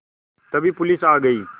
तभी पुलिस आ गई